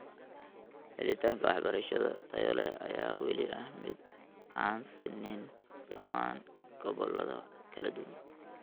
Helitaanka waxbarasho tayo leh ayaa weli ah mid aan sinnayn dhammaan gobollada kala duwan.